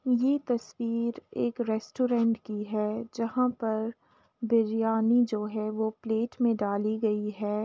ये तस्वीर एक रेस्टोरेंट की है जहाँ पर बिरयानी जो है वो प्लेट में डाली गयी है।